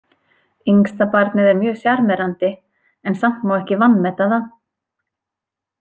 Yngstabarnið er mjög sjarmerandi en samt má ekki vanmeta það.